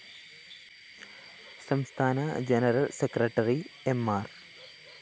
സംസ്ഥാന general secretary M R